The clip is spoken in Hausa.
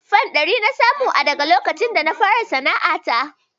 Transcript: Fan ɗari na samu a daka lokacin da na fara sana'ata